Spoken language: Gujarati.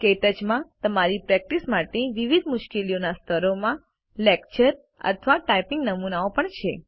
ક્ટચ માં તમારી પ્રેક્ટિસ માટે વિવિધ મુશ્કેલીઓના સ્તરો માં લેક્ચર અથવા ટાઇપિંગ નમૂનાઓ પણ છે